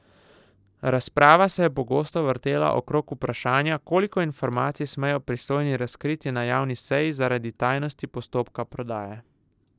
Razprava se je pogosto vrtela okrog vprašanja, koliko informacij smejo pristojni razkriti na javni seji zaradi tajnosti postopka prodaje.